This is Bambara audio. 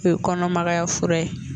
O ye kɔnɔmagaya fura ye